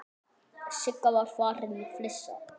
Sigga var farin að flissa.